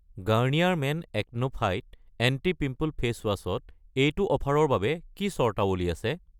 Garnier men acno fight anti-pimple facewash ত এইটো অফাৰৰ বাবে কি চৰ্তাৱলী আছে?